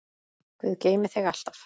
Guð geymi þig alltaf.